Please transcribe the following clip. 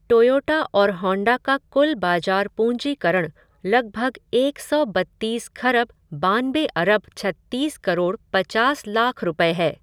Toyota और Honda का कुल बाज़ार पूँजीकरण लगभग एक सौ बत्तीस खरब बानबे अरब छत्तीस करोड़ पचास लाख रूपये है।